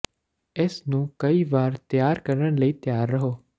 ਇਸ ਨੂੰ ਕਈ ਵਾਰ ਤਿਆਰ ਕਰਨ ਲਈ ਤਿਆਰ ਰਹੋ